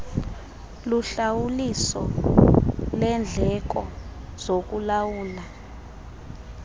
luhlawuliso lendleko zokulawula